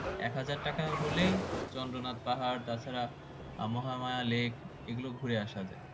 এক হাজার টাকা হলেই চন্দ্রনাথ পাহাড় তাছাড়া মহামায়া lake এই গুলো ঘুরে আসা যায়